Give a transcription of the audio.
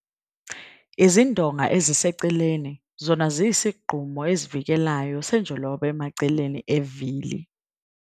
Izindonga eziseceleni - zona ziyisigqumo esivikelayo senjoloba emaceleni evili.